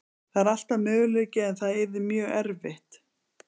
Það er alltaf möguleiki en það yrði mjög erfitt.